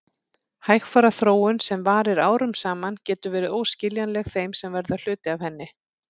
Hægfara þróun sem varir árum saman getur verið óskiljanleg þeim sem verða hluti af henni.